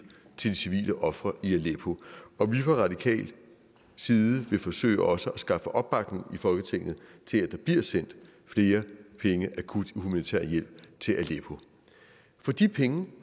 til de civile ofre i aleppo og vi fra radikal side vil forsøge også at skaffe opbakning i folketinget til at der bliver sendt flere penge akut humanitær hjælp til aleppo for de penge